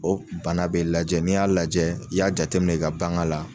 B'ɔ bana be lajɛ n'i y'a lajɛ i y'a jateminɛ i ka baŋa la